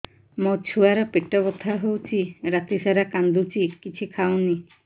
ମୋ ଛୁଆ ର ପେଟ ବଥା ହଉଚି ରାତିସାରା କାନ୍ଦୁଚି କିଛି ଖାଉନି